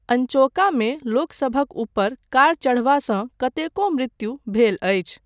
अनचौकमे लोकसभक ऊपर कार चढ़बासँ कतेको मृत्यु भेल अछि।